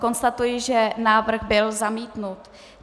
Konstatuji, že návrh byl zamítnut.